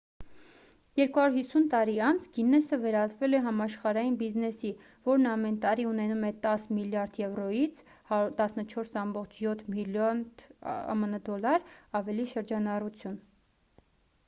250 տարի անց գիննեսը վերածվել է համաշխարհային բիզնեսի որն ամեն տարի ունենում է 10 միլիարդ եվրոյից 14,7 միլիարդ ամն դոլար ավելի շրջանառություն: